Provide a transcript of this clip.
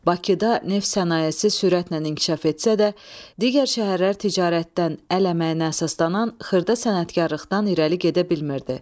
Bakıda neft sənayesi sürətlə inkişaf etsə də, digər şəhərlər ticarətdən əl əməyinə əsaslanan xırda sənətkarlıqdan irəli gedə bilmirdi.